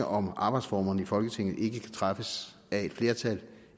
om arbejdsformerne i folketinget ikke kan træffes af et flertal